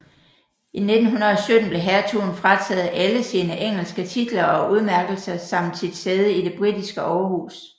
I 1917 blev hertugen frataget alle sine engelske titler og udmærkelser samt sit sæde i det britiske overhus